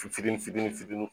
Fitini fitini fitini